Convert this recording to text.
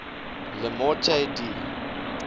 le morte d